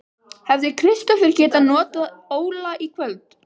Hefði Kristófer getað notað Óla í kvöld?